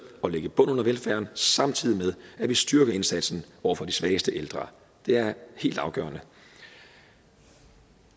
at lægge en bund under velfærden samtidig med at vi styrker indsatsen over for de svageste ældre det er helt afgørende